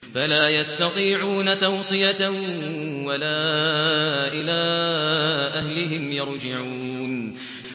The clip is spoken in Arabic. فَلَا يَسْتَطِيعُونَ تَوْصِيَةً وَلَا إِلَىٰ أَهْلِهِمْ يَرْجِعُونَ